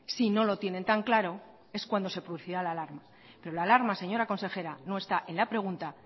si no lo tienen tan claro es cuando se producirá la alarma pero la alarma señora consejera no está en la pregunta